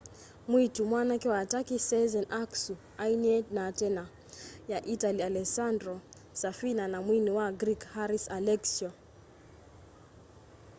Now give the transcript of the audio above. mwiitu mwanake wa turkey sezen aksu ainie na tena ya itali alessandro safina na mwini wa greek haris alexiou